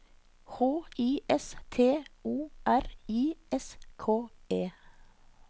H I S T O R I S K E